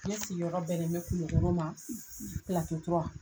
Ne sigiyɔrɔ bɛ ni bɛ Kulikoro ma, .